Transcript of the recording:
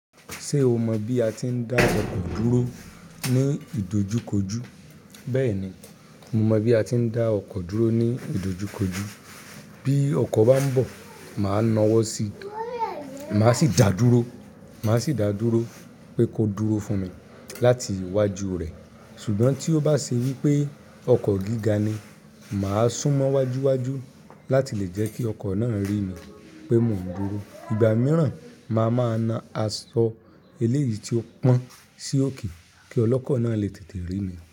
Ṣé o mọ bí a ti ń dá ọkọ̀ dúró ní ìdojúkojú? Bẹ́ẹ̀ni, mo mọ bí a ti ń dá ọkọ̀ dúró ní ìdojúkojú. Bí ọkọ̀ bá ń bọ̀, màá na ọwọ́ sí i, màá sì dáa dúró, màá sì dáa dúró pé kó dúró fún mi láti iwájú rẹ̀. Ṣùgbọ́n tí ó bá ṣe wípé ọkọ̀ gíga ni, mà á sún mọ́ wájú wájú láti lè jẹ́ kí ọkọ̀ náà rí ni pé mò ń dúró. Ìgbà mìíràn máa máa na asọ eléyìí tí ó pọn sí òkè kí ọlọ́kọ̀ náà lè tètè rí ni.